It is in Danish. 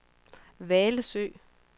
Hvalsø